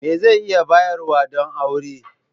Me zan iya bayarwa don aure?